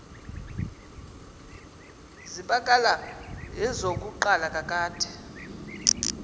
zibakala esokuqala kakade